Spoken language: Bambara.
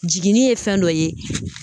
Jiginni ye fɛn dɔ ye